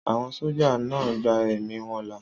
Àwọn sójà náà gba ẹ̀mí wọn là